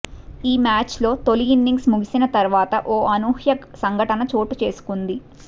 ఈ మ్యాచ్లో తొలి ఇన్నింగ్స్ ముగిసిన తర్వాత ఓ అనూహ్యా సంఘటన చోటు చేసుకుంది